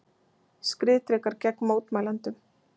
Skriðdrekar gegn mótmælendum